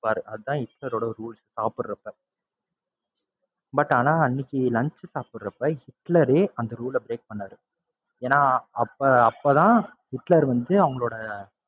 பாரு அதான் ஹிட்லரோட rules சாப்பிடறப்ப. but ஆனா அன்னைக்கு lunch சாப்பிடுறப்ப ஹிட்லரே அந்த rule அ break பண்ணாரு. ஏன்னா அப்ப, அப்பதான் ஹிட்லர் வந்து அவங்களோட,